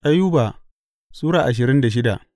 Ayuba Sura ashirin da shida